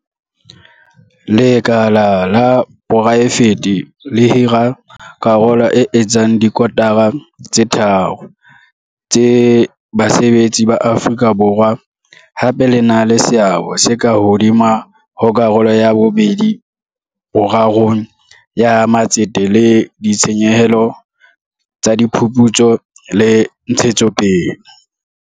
Lekala la poraefete le hira karolo e etsang dikotara tse tharo tsa basebetsi ba Afrika Borwa, hape le na le seabo se ka hodimo ho karolo ya pedi-borarong ya matsete le ditshenyehelo tsa diphuputso le ntshetsopele.